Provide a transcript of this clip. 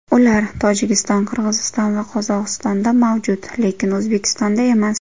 Ular Tojikiston, Qig‘iziston va Qozog‘iztonda mavjud, lekin O‘zbekistonda emas.